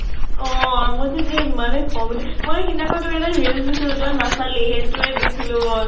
অʼ । মোৰ যে মানে ইমানেই খং উঠে । মই যে সিদিনাখন এটা reels দিছিলো , তই নাছালি, সেইতোৱে দিছিলো মই ।